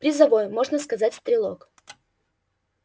призовой можно сказать стрелок